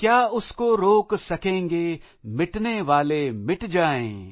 क्या उसको रोक सकेंगे मिटनेवाले मिट जाएं